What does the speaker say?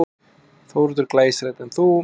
Þórhildur: Glæsilegt, en þú?